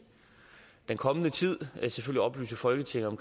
den kommende tid oplyse folketinget om